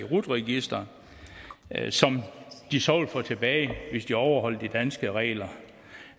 rut registeret som de så vil få tilbage hvis de overholder de danske regler